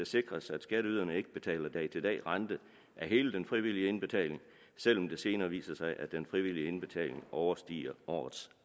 sikres at skatteyderne ikke betaler dag til dag rente af hele den frivillige indbetaling selv om det senere viser sig at den frivillige indbetaling overstiger årets